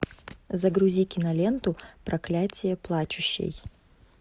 загрузи киноленту проклятие плачущей